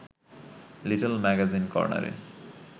little magazine কর্ণারে